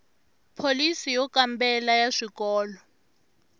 pholisi yo kambela ya swikolo